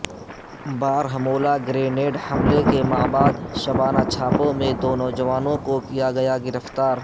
Baramulla grenade حملے کے ما بعد شبانہ چھاپوں میں دو نوجوانوں کو کیا گیا گرفتار